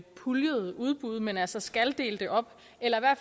puljede udbud men altså skal dele dem op eller i hvert